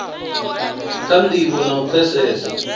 kha ndivho na u pfesesa